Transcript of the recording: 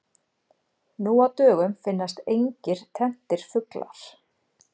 Nú á dögum finnast engir tenntir fuglar.